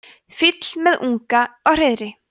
fýll með unga á hreiðri